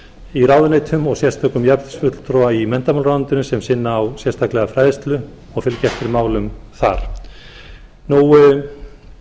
í ráðuneytum og sérstökum jafnréttisfulltrúa í menntamálaráðuneytinu sem sinna á sérstaklega fræðslu og fylgjast með málum þar eins og áður sagði var